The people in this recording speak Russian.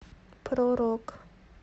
про рок